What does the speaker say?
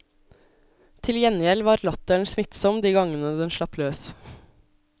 Til gjengjeld var latteren smittsom de gangene den slapp løs.